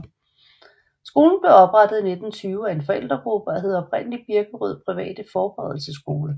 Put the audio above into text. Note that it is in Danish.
Skolen blev oprettet i 1920 af en forældregruppe og hed oprindelig Birkerød private Forberedelsesskole